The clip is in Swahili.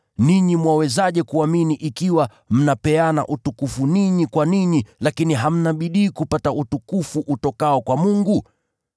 Ninyi mwawezaje kuamini ikiwa mnapeana utukufu ninyi kwa ninyi, lakini hamna bidii kupata utukufu utokao kwa Mungu?